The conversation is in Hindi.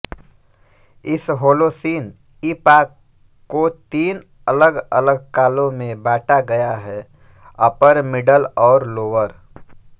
इस होलोसीन ईपॉक को तीन अलगअलग कालों में बांटा गया है अपर मिडल और लोअर